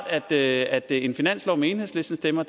at at en finanslov med enhedslistens stemmer